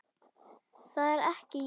Það er ekki í boði.